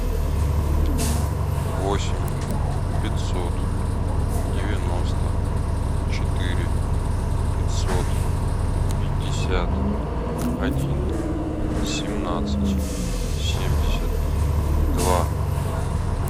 восемь пятьсот девяносто четыре пятьсот пятьдесят один семнадцать семьдесят два